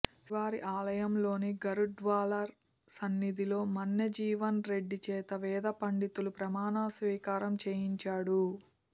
శ్రీవారి ఆలయంలోని గరుడాళ్వార్ సన్నిధిలో మన్నెజీవన్ రెడ్డి చేత వేద పండితులు ప్రమాణ స్వీకారం చేయించాడు